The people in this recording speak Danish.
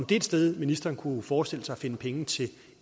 det et sted ministeren kunne forestille sig at finde penge til